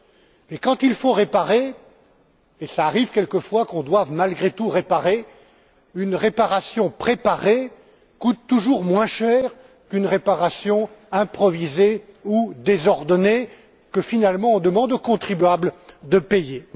Mais quand il faut réparer et cela arrive quelquefois que l'on doive, malgré tout, réparer une réparation préparée coûte toujours moins cher qu'une réparation improvisée ou désordonnée, que finalement on demande aux contribuables de payer.